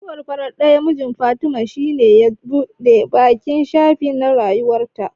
Mutuwar farar ɗayan mijin Fatima shine ya buɗe baƙin shafi na rayuwarta.